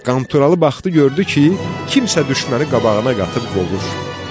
Qanturalı baxdı, gördü ki, kimsə düşmənləri qabağına qatıb qovur.